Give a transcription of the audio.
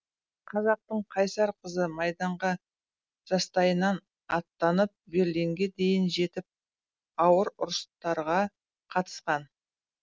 қазақтың қайсар қызы майданға жастайынан аттанып берлинге дейін жетіп ауыр ұрыстарға қатысқан